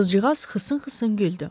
Qızcığaz xısın-xısın güldü.